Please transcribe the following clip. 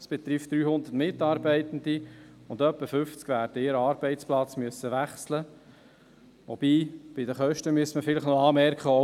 Es betrifft 300 Mitarbeitende, und etwa 50 werden ihren Arbeitsplatz wechseln müssen, wobei man bei den Kosten vielleicht noch anmerken müsste: